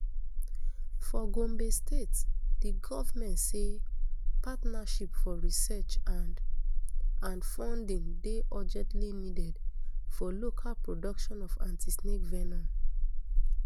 for gombe state di govment say partnership for research and and funding dey urgently needed for local production of antisnake venom